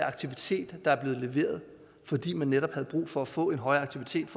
aktivitet der er blevet leveret fordi man netop havde brug for at få en højere aktivitet